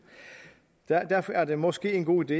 derfor er det måske en god idé